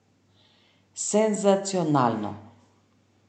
Senzacionalno!